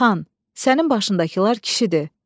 Xan, sənin başındakılar kişidir.